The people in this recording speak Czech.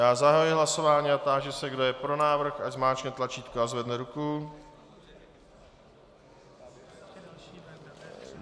Já zahajuji hlasování a táži se, kdo je pro návrh, ať zmáčkne tlačítko a zvedne ruku.